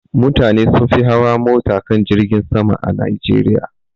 Mutane sun fi hawa mota kan jirgin sama a Najeriya.